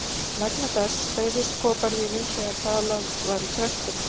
Vegna þess hreyfðist koparvírinn þegar talað var í trektina.